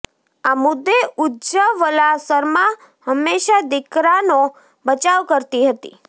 આ મુદ્દે ઉજ્જવલા શર્મા હંમેશા દીકરાનો બચાવ કરતી હતી